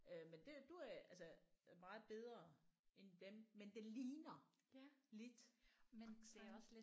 Øh men det er du er altså meget bedre end dem men det ligner lidt accent